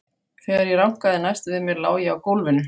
Þegar ég rankaði næst við mér lá ég á gólfinu.